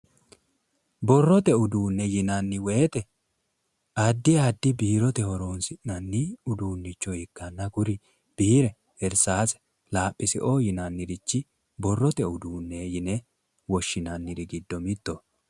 Borrote uduune yinnanni woyte addi addi biirote horonsi'nanni uduunicho ikkanna kuri biire irsase laphise borrote uduune yinne woshshinanniri giddo mittoho